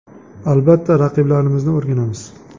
Albatta, raqiblarimizni o‘rganamiz.